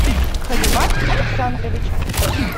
халимат александрович